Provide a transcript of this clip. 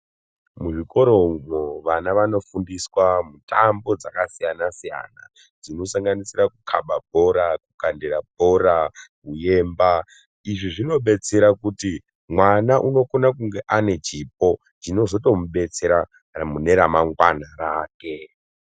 Muzvikoraizvo vana vanofundiswa mitambo dzakasiyanasiyana dzinosanganisire kukaba bhora kukandira bhora kuyemba izvi zvinodetsera kuti mwana unokone kunge ane chipo chinozotomudetsera mune ramangwana rake.